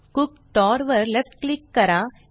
कुक्टर वर left click करा